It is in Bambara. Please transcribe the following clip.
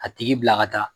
A tigi bila ka taa